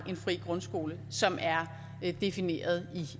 en fri grundskole som er defineret